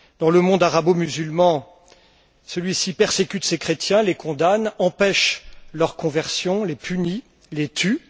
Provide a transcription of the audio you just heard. Le monde arabo musulman persécute ses chrétiens, les condamne, empêche leur conversion, les punit, les tue.